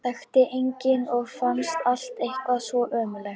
Þekkti engan og fannst allt eitthvað svo ömurlegt.